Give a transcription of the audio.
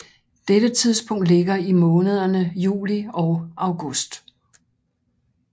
Dette tidspunkt ligger i månederne juli og august